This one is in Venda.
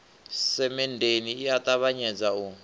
semenndeni i a ṱavhanyedza u